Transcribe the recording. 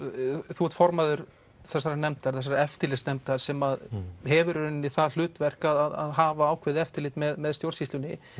þú ert formaður þessarar nefndar þessarar eftirlitsnefndar sem hefur í rauninni það hlutverk að hafa ákveðið eftirlit með stjórnsýslunni